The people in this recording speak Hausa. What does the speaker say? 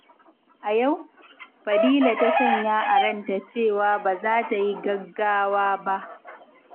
A yau, Fadila ta sanya a ranta cewa ba za ta yi gaggawa ba.